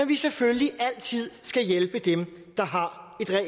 vi selvfølgelig altid skal hjælpe dem der har